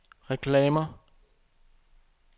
reklamer